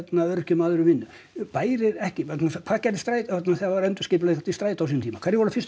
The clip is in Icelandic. öryrkjum og öðrum vinnu bæri ekki vegna þess hvað gerði Strætó þarna þegar var endurskipulagt í Strætó á sínum tíma hverjum var fyrst